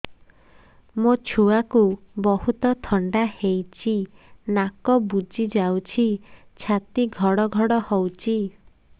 ମୋ ଛୁଆକୁ ବହୁତ ଥଣ୍ଡା ହେଇଚି ନାକ ବୁଜି ଯାଉଛି ଛାତି ଘଡ ଘଡ ହଉଚି